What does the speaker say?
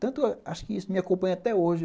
Tanto, acho que isso me acompanha até hoje.